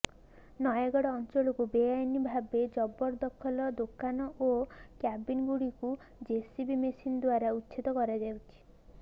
ନୟାଗଡ଼ ଅଞ୍ଚଳକୁ ବେଆଇନ୍ ଭାବେ ଜବରଦଖଲ ଦୋକାନ ଓ କ୍ୟାବିନ୍ ଗୁଡିକୁ ଜେସିବି ମେସିନ୍ ଦ୍ୱାରା ଉଚ୍ଛେଦ କରାଯାଇଛି